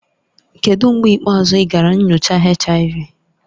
Kedu mgbe ikpeazụ ị gara nyocha HIV?